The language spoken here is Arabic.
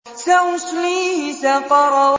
سَأُصْلِيهِ سَقَرَ